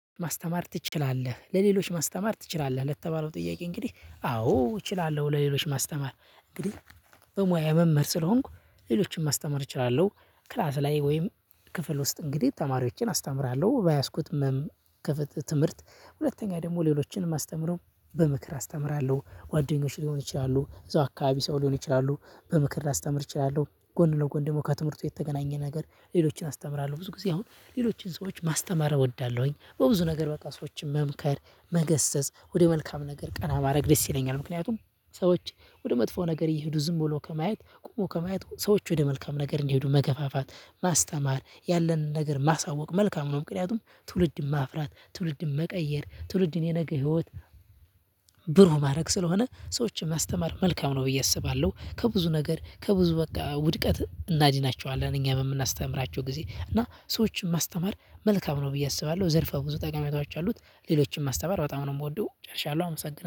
ማስተማር ትችላለ? ለሌሎች ማስተማር ትችላለህ ለተባለው ጥያቄ እንግዲህ አዎ እችላለሁ ለሌሎች ማስተማር እንግዲህ በሙያ መምህር ስለሆንኩ ሌሎችን ማስተማር እችላለሁ። ክላስ ላይ ወይም ክፍል ውስጥ እንግዲህ ተማሪዎችን አስተምራለሁ በያዝኩት ክፍለ ትምህርት ሁለተኛ ደግሞ ሌሎችን ማስተምረው በምክር አስተምራለሁ። ጓደኞች ሊሆን ይችላሉ አካባቢ ሰው ሊሆን ይችላሉ። በምክር ላስተምር እችላለሁ ጎን ለጎን ደግሞ ከትምህርቱ የተገናኘ ነገር ሌሎችን አስተምራለሁ ብዙ ጊዜ አሁን ሌሎችን ሰዎች ማስተማር እወዳለሁኝ በብዙ ነገር በቃ ሰዎችን መምከር መገሰጽ ወደ መልካም ነገር ቀና ማድረግ ደስ ይለኛል ምክንያቱም ሰዎች ወደ መጥፎ ነገር ይሄዱ ዝም ብሎ ከማየት ቆሞ ከማየት ሰዎች ወደ መልካም ነገር እንዲሄዱ መገፋፋት ማስተማር ያለንን ነገር ማሳወቅ መልካም ነው ምክንያቱም ትውልድ ማፍራት ትውልድ መቀየር ትውልድን የነገ ህይወት ብሩህ ማድረግ ስለሆነ ሰዎችን ማስተማር መልካም ነው ብዬ አስባለሁ ከብዙ ነገር ከብዙ በቃ ውድቀት እናድናቸዋለን እኛ በምናስተምራቸው ጊዜ እና ሰዎችን ማስተማር መልካም ነው ብዬ አስባለሁ ዘርፈ ብዙ ጠቀሜታዎች አሉት ሌሎችን ማስተማር በጣም ነው ምወደው ጨርሻለሁ አመሰግናለሁ።